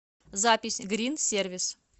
запись грин сервис